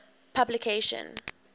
publication